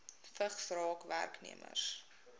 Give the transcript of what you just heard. vigs raak werknemers